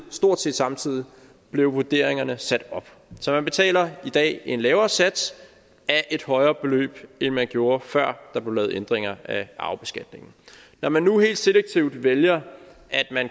stort set samtidig blev vurderingerne sat op så man betaler i dag en lavere sats af et højere beløb end man gjorde før der blev lavet ændringer af arvebeskatningen når man nu helt selektivt vælger